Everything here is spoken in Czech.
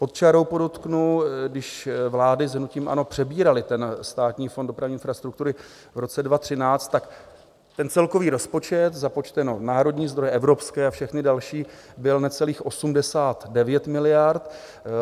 Pod čarou podotknu, když vlády s hnutím ANO přebíraly ten Státní fond dopravní infrastruktury v roce 2013, tak ten celkový rozpočet, započteno národní zdroje, evropské a všechny další, byl necelých 89 miliard.